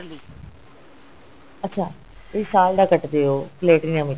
ਅੱਛਾ ਇਹ ਸਾਲ ਦਾ ਕੱਟਦੇ ਹੋ platinum ਵਿੱਚ